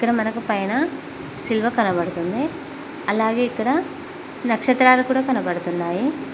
ఇక్కడ మనకి పైన శిలువ కనపడుతుంది అలాగే ఇక్కడ నక్షత్రాలు కూడా కనబడుతున్నాయి.